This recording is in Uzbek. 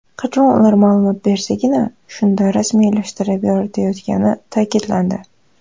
Qachon ular ma’lumot bersagina, shunda rasmiylashtirilib yoritilayotgani ta’kidlandi.